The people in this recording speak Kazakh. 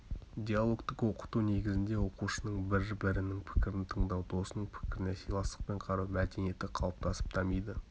диалогтік оқыту негізінде оқушының бір-бірінің пікірін тыңдау досының пікіріне сыйластықпен қарау мәдениеті қалыптасып дамиды